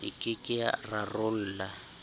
e ke ke ya rarolla